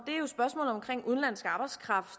udenlandsk arbejdskraft